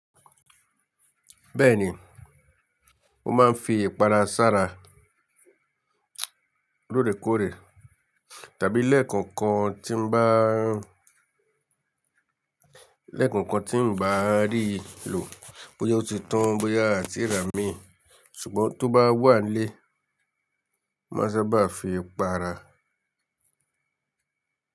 Bẹ́ẹ̀ni, ó máa ń fi ìpara sára lóòrèkóòrè tàbí lẹ́ẹ̀kọ̀kan tí ń bá, lẹ́ẹ̀kọ̀kan tí ń bá rí lò bóyá ó ti tán bóyá àti rà mí ṣùgbọ́n tó bá wà nílé, máa sábà fi para.